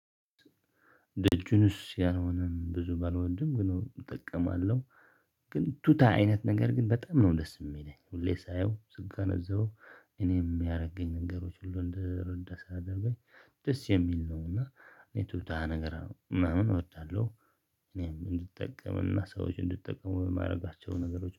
ደጁንስ ያልሆነም ብዙ ባልወድም ግን እጠቀማለሁ። ግን ቱታ አይነት ነገር ግን በጣም ነው ደስ የሚለኝ ሁሌ ሳየው ስጋነዘበው እኔም የሚያረገኝ ነገሮች ሁሉ እንድረዳ ያለብኝ። ደስ የሚል ነው እና እኔ ቱታ ነገር ምናምን እወዳለሁ። እኔም እንድጠቀምና ሰዎች እንድትጠቀሙ በማድረጋቸው ነገሮች